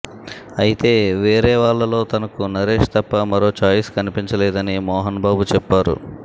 ఐతే వేరే వాళ్లలో తనకు నరేష్ తప్ప మరో ఛాయిస్ కనిపించలేదని మోహన్ బాబు చెప్పారు